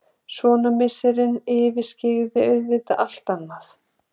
Sonarmissirinn yfirskyggði auðvitað allt annað.